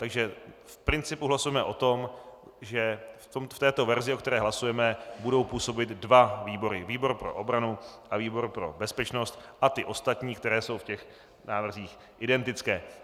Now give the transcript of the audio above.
Takže v principu hlasujeme o tom, že v této verzi, o které hlasujeme, budou působit dva výbory - výbor pro obranu a výbor pro bezpečnost - a ty ostatní, které jsou v těch návrzích identické.